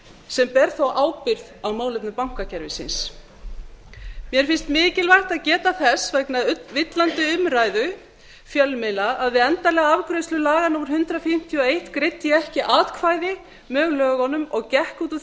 sem ber þó ábyrgð á málefni bankakerfisins mér finnst mikilvægt að geta þess vegna villandi umræðu fjölmiðla að við endanlega afgreiðslu laga númer hundrað fimmtíu og einn greiddi ég ekki atkvæði með lögunum og gekk út úr